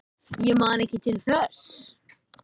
Ég man ekki til þess.